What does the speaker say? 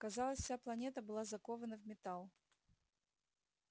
казалось вся планета была закована в металл